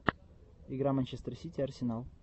игра манчестер сити арсенал